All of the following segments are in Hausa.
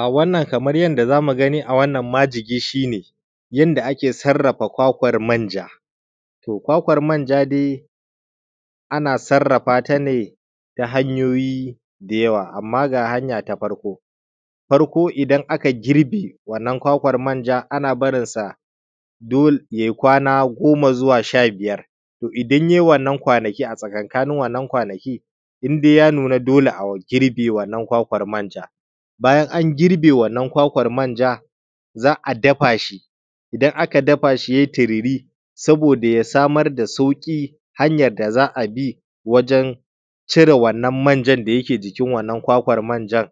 A wannan kamar yadda zamu gani a wannan majigi shine yanda ake sarrafa kwakwar manja. To kwakwanja dai ana sarrafa ne ta hanyoyi da yawa. amma ga ta farko, farko idan akai girbin wannan kwakwan manjan ana barinsa dole yai kwana goma zuwa sha biyar in yai wannan kwanaki a tsakankanin wannan kwanaki indai ya nuna dole a girbe wannan kwakwan manja, bayan an girbe wannan kwakwan manja za’a dafashi idan aka dafashi yai tiriri saboda ya sammar da sauƙi hanyar da za’abi wajen cire wannan manjan da yake jikin kwakwan manjar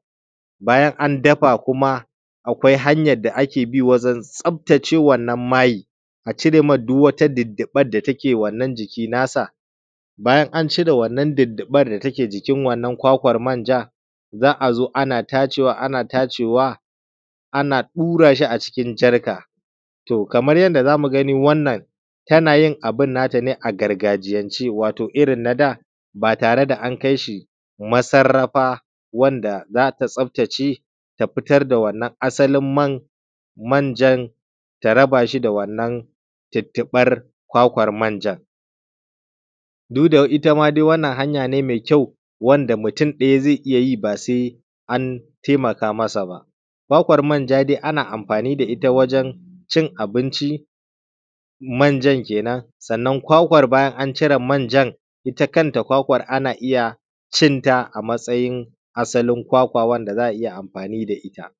bayan an dafa kuma akwai hanyan da akebi wajen cire wannan mai na jiki nasa. Bayan an cire wannan dudduɓar da take jikin wannan kwakwan manja za’azo ana tacewa ana tacewa ana ɗurashi a cikin jarka to Kaman yanda zamu gani wannan, tana yin abun nata ne a gargajiyance wato irrin nada ba tare da an kaishi massarrafa wanda zata tsaftace ta fitar da wannan asalin manjan ta rabashi da dudduɓar kwakwar manjan. Duda itta ma dai wannan hanya ne me kyau wanda mutun ɗaya zai iyya yi basai an taimaka masa ba. Kwakwar manja dai ana amfani da itta wajen cin abinci manjan kenan sannan kwakwar bayan an cire manjan itta kanta ana iyya cinta a matsayin asalin kwakwa wanda za’a iyya amfani da itta.